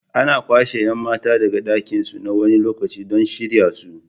Ana kwashe 'yan mata daga danginsu na wani lokaci don shirya su.